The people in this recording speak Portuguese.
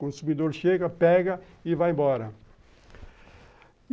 Consumidor chega, pega e vai embora.